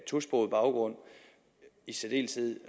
tosproget baggrund i særdeleshed